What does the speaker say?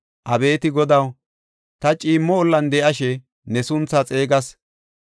Abeeti Godaw, ta ciimmo ollan de7ashe ne sunthaa xeegas.